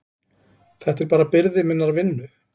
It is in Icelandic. Þetta er bara byrði minnar vinnu.